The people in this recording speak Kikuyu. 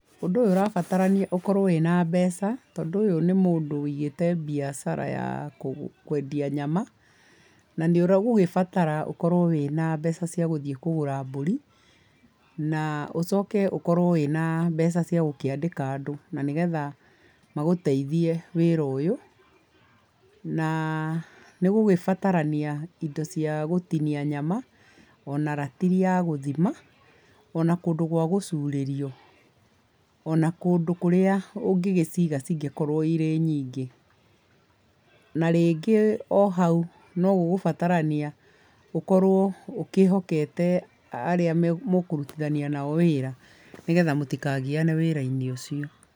Ũndũ ũyũ ũrabatarania ũkorwo wĩna mbeca, tondũ ũyũ nĩ mũndũ wũigĩte mbiacara ya kwendia nyama, na nĩ ũgũgĩbatara ũkorwo wĩna mbeca cia gũthiĩ kũgũra mbũri na ũcoke ũkorwo wĩna mbeca cia gũkĩandĩka andũ na nĩgetha magũteithie wĩra ũyũ. Na nĩ gũgũgĩbatarania indo cia gũtinia nyama, o na ratiri ya gũthima, o na kũndũ gwa gũcurĩrio, o na kũndũ kũrĩa ũngĩgĩciiga cingĩkorwo irĩ nyingĩ. Na rĩngĩ o hau, no gũgũbatarania ũkorwo ũkĩĩhokete arĩa mũkũrutithania nao wĩra nĩgetha mũtikagiane wĩra-inĩ ũcio.